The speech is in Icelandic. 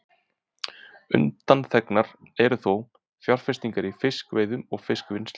Undanþegnar eru þó fjárfestingar í fiskveiðum og fiskvinnslu.